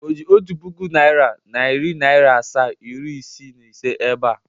O ji otu pụkụ naira, nari naira asaa, iri isiii na ise ebe a?